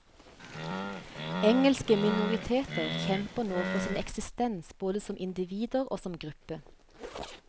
Engelske minoriteter kjemper nå for sin eksistens både som individer og som gruppe.